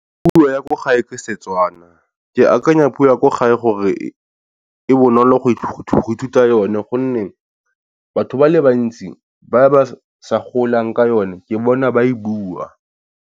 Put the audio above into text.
Puo ya ko gae ke Setswana ke akanya puo ya ko gae gore e e bonolo go ithuta yone gonne batho ba le bantsi ba ba sa golang ka yone ke bona ba e bua.